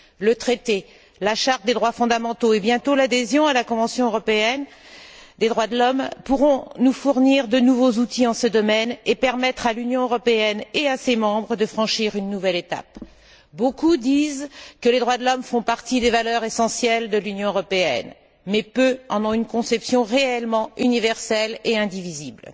Le traité, la Charte des droits fondamentaux et, bientôt, l'adhésion à la Convention européenne des droits de l'homme, pourront nous fournir de nouveaux outils en ce domaine et permettre à l'Union européenne et à ses membres de franchir une nouvelle étape. Beaucoup disent que les droits de l'homme font partie des valeurs essentielles de l'Union européenne mais peu en ont une conception réellement universelle et indivisible.